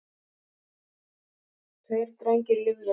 Tveir drengir lifðu ekki.